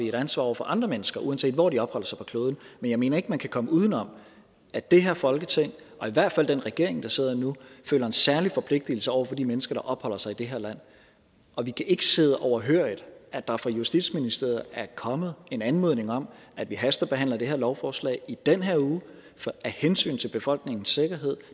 et ansvar over for andre mennesker uanset hvor de opholder sig på kloden men jeg mener ikke at man kan komme udenom at det her folketing og i hvert fald den regering der sidder nu føler en særlig forpligtigelse over for de mennesker der opholder sig i det her land og vi kan ikke sidde overhørigt at der fra justitsministeriet er kommet en anmodning om at vi hastebehandler det her lovforslag i den her uge af hensyn til befolkningens sikkerhed